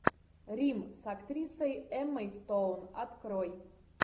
рим с актрисой эммой стоун открой